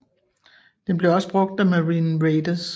Den blev også brugt af Marine Raiders